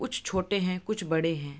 कुछ छोटे हैं कुछ बड़े हैं |